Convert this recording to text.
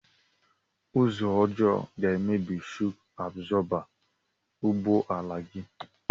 Ụzọ ọjọọ ga emebi shọk abzọba ụgbọ ala gi